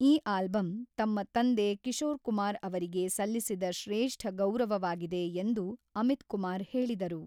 ಈ ಆಲ್ಬಮ್ ತಮ್ಮ ತಂದೆ ಕಿಶೋರ್ ಕುಮಾರ್ ಅವರಿಗೆ ಸಲ್ಲಿಸಿದ ಶ್ರೇಷ್ಠ ಗೌರವವಾಗಿದೆ ಎಂದು ಅಮಿತ್ ಕುಮಾರ್ ಹೇಳಿದರು.